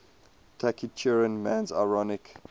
taciturn man's ironic